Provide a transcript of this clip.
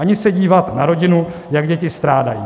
Ani se dívat na rodinu, jak děti strádají.